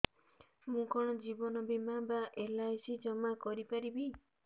ମୁ କଣ ଜୀବନ ବୀମା ବା ଏଲ୍.ଆଇ.ସି ଜମା କରି ପାରିବି